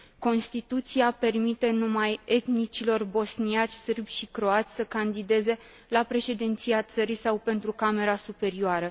Constituția permite numai etnicilor bosniaci, sârbi și croați să candideze la președinția țării sau pentru Camera Superioară.